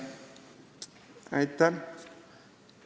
Aitäh!